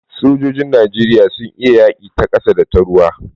Sojojin Najeriya sun iya yaƙi ta ƙasa da ta ruwa.